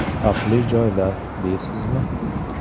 Xavfli joylar, deysizmi?